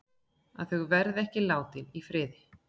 Að þau verði ekki látin í friði.